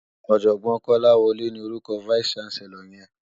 Òjògbòn Kolawole ni órúkò fáìsí ṣánsèlòr yèn